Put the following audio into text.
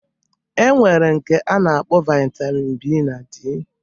E nwere nke a na-akpọ Vaitamin B na D